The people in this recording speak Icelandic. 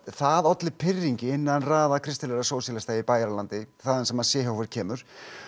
það olli pirringi innan raða kristilegra sósíalista í Bæjaralandi þaðan sem Seehofer kemur